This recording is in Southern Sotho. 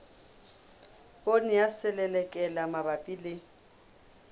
poone ya selelekela mabapi le